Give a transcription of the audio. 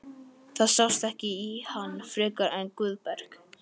Það sást ekki í hann frekar en Guðberg.